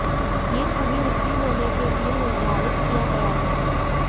यह छवि नकली होने के लिए निर्धारित किया गया था